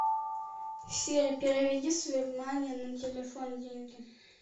сири переведи с вебмани на телефон деньги